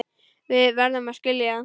Við verðum að skilja það.